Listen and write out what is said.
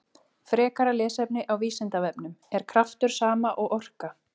Frekara lesefni á Vísindavefnum: Er kraftur sama og orka?